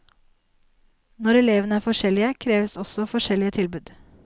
Når elevene er forskjellige, kreves også forskjellige tilbud.